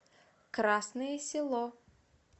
красное село